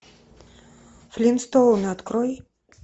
флинстоуны открой